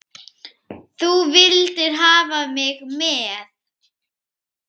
Þú vildir hafa mig með.